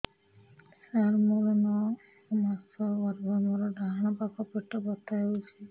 ସାର ମୋର ନଅ ମାସ ଗର୍ଭ ମୋର ଡାହାଣ ପାଖ ପେଟ ବଥା ହେଉଛି